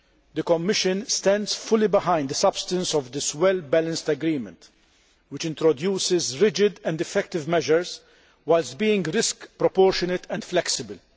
The Commission stands fully behind the substance of this well balanced agreement, which introduces rigid and effective measures whilst being risk proportionate and flexible.